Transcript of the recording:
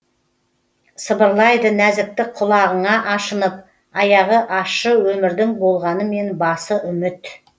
сыбырлайды нәзіктік құлағыңа ашынып аяғы ащы өмірдің болғанменен басы үміт